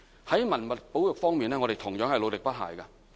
在文物保育方面，我們同樣努力不懈。